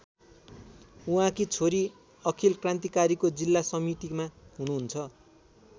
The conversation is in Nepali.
उहाँकी छोरी अखिल क्रान्तिकारीको जिल्ला समितिमा हुनुहुन्छ।